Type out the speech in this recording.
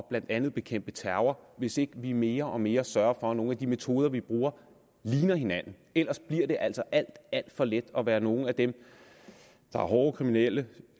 blandt andet at bekæmpe terror hvis ikke vi mere og mere sørger for at nogle af de metoder vi bruger ligner hinanden ellers bliver det altså alt alt for let at være nogle af dem der er hårde kriminelle